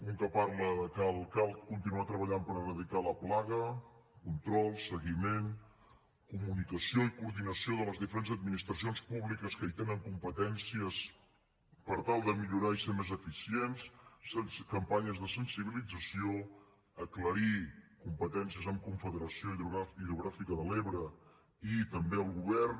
un que parla de que cal continuar treballant per erradicar la plaga control seguiment comunicació i coordinació de les diferents administracions públiques que hi tenen competències per tal de millorar i ser més eficients campanyes de sensibilització aclarir competències amb confederació hidrogràfica de l’ebre i també el govern